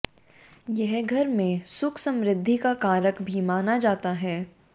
यह घर में सुख समृद्धि का कारक भी माना जाता है